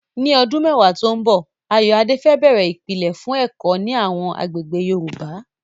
Ní ọdún mẹ́wàá tó ń bọ̀, Ayoade fẹ́ bẹ̀rẹ̀ ìpìlẹ̀ fún ẹ̀kọ́ ní àwọn agbègbè Yorùbá.